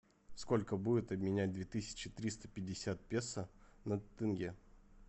сколько будет обменять две тысячи триста пятьдесят песо на тенге